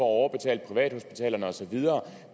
overbetale privathospitalerne og så videre